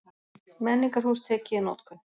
Menningarhús tekið í notkun